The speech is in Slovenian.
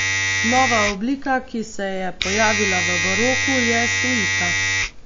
Nova oblika, ki se je pojavila v baroku, je suita.